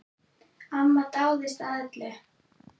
Amma dáðist að öllu.